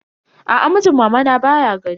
Aa, mijin mamana baya gari.